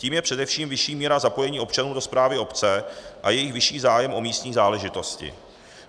Tím je především vyšší míra zapojení občanů do správy obce a jejich vyšší zájem o místní záležitosti.